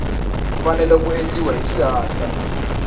fanele ku endliwa hi xihatla